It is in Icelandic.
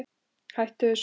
Hættu þessu!